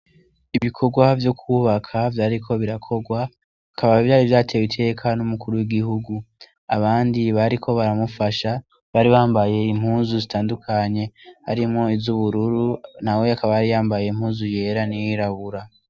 Ibikogwa vyo kwubaka vyariko birakogwa bikaba vyari vyatewe iteka n' umukuru w' igihugu abandi bariko baramufasha bari bambaye impuzu zitandukanye harimwo izubururu nawe akaba yari yambaye impuzu yera n' iyirabura.